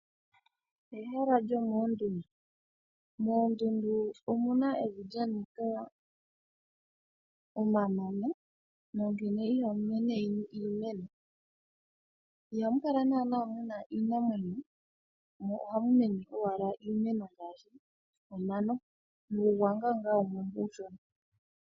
Ehala lyomoondundu. Moondundu omuna evi lyanika omanono nonkene ihamu mene iimeno. Ihamu kala naanaa muna iinamwenyo mo ohamu mene owala iimeno ngaashi omano nuugwanga wumwe mbo uushona.